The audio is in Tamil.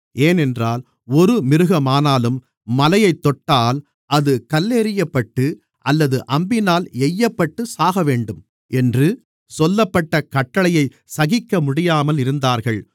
ஏனென்றால் ஒரு மிருகமானாலும் மலையைத் தொட்டால் அது கல்லெறியப்பட்டு அல்லது அம்பினால் எய்யப்பட்டுச் சாகவேண்டும் என்று சொல்லப்பட்ட கட்டளையைச் சகிக்கமுடியாமல் இருந்தார்கள்